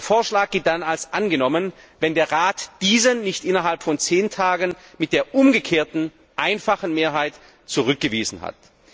Der Vorschlag gilt dann als angenommen, wenn der Rat diesen nicht innerhalb von 10 Tagen mit der umgekehrten, einfachen Mehrheit zurückgewiesen hat.